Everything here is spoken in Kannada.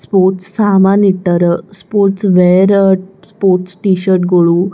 ಸ್ಪೋರ್ಟ್ಸ್ ಸಾಮಾನ್ ಇಟ್ಟರ್. ಸ್ಪೋರ್ಟ್ಸ್ ವೆರ್ ಸ್ಪೋರ್ಟ್ಸ್ ಟೀಶರ್ಟ್ ಗೋಳು.